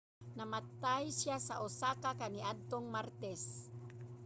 namatay siya sa osaka kaniadtong martes